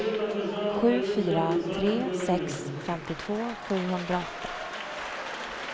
sju fyra tre sex femtiotvå sjuhundraåtta